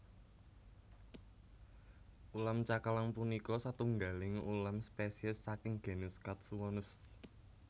Ulam cakalang punika satunggaling ulam spesies saking genus Katsuwonus